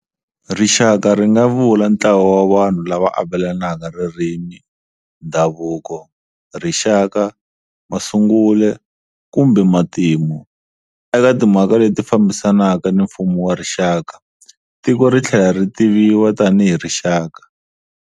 Rixaka ri nga vula ntlawa wa vanhu lava avelana ririmi, ndhavuko, rixaka, masungulo kumbe matimu. Eka timhaka leti fambisanaka ni mfumo wa rixaka, tiko ri tlhela ri tiviwa tanihi rixaka.